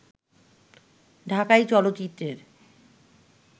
ঢাকাই চলচ্চিত্রের